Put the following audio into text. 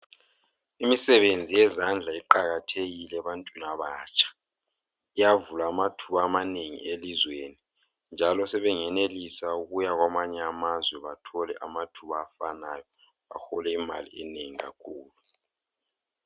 Imisebenzi yezandla iqakathekile ebantwini abatsha. Iyavula amathuba amanengi elizweni njalo sebengenelisa ukuya kwamanye amazwe bathole amathuba afanayo bahole imali enengi kakhulu.